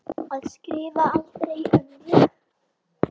Að skrifa aldrei um mig.